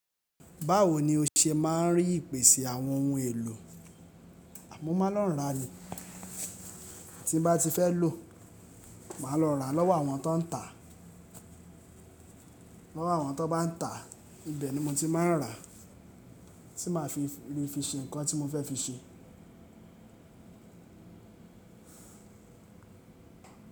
Báwo ni o ṣe máa ń rí ìpèsè àwọn ohun èlò? Mo máa lọ ń rà ni, tí n bá ti fẹ́ lò máa lọ rà lọ́wọ́ àwọn tón tà, lọ́wọ́ àwọn tón bá ń tà ibẹ̀ ni mo ti ń máa rà, tí máa fi rí fi ṣe nǹkan tí mo fẹ́ fi ṣe.